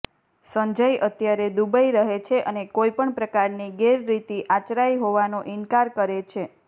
સંજય અત્યારે દુબઇ રહે છે અને કોઈ પણ પ્રકારની ગેરરીતિ આચરાઈ હોવાનો ઇન્કાર કરે છે